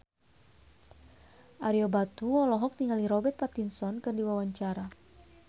Ario Batu olohok ningali Robert Pattinson keur diwawancara